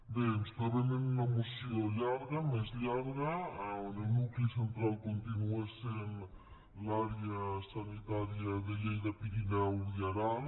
bé ens trobem amb una moció llarga més llarga on el nucli central continua sent l’àrea sanitària de lleida pirineus i aran